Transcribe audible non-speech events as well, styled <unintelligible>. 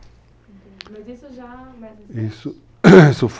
Entendi, mas isso já mas... <coughs> Isso foi <unintelligible>